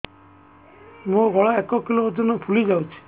ମୋ ଗଳା ଏକ କିଲୋ ଓଜନ ଫୁଲି ଯାଉଛି